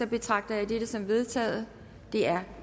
betragter jeg dette som vedtaget det er